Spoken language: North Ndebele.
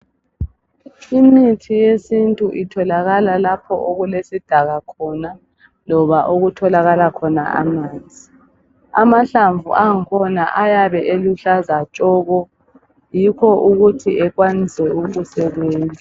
Imithi yesintu itholakala lapho okulesidaka khona loba okutholakala khona amanzi. Amahlamvu akhona ayabe eluhlaza tshoko yikho ukuthi ekwanise ukusebenza.